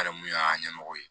Hali mun y'a ɲɛmɔgɔ ye